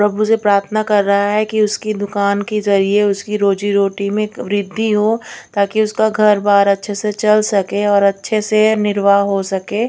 प्रभु से प्रार्थना कर रहा है कि उसकी दुकान की जरिए उसकी रोजी रोटी में वृद्धि हो ताकि उसका घर बार अच्छे से चल सके और अच्छे से निर्वाह हो सके।